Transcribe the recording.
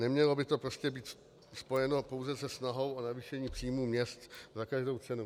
Nemělo by to prostě být spojeno pouze se snahou o navýšení příjmů měst za každou cenu.